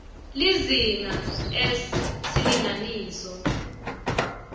lizinga s silinganiso